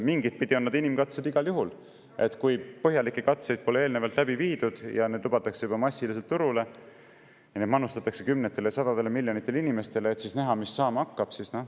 Mingitpidi on need inimkatsed igal juhul, kui põhjalikke katseid pole eelnevalt läbi viidud, aga lubatakse juba massiliselt turule, neid manustatakse kümnetele või sadadele miljonitele inimestele, et näha, mis saama hakkab.